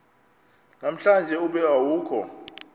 namhlanje ube awukho